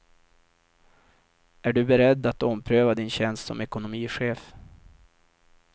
Är du beredd att ompröva din tjänst som ekonomichef.